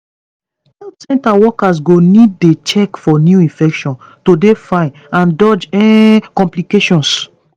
health center workers go need dey check for new infections to dey fine and dodge um complications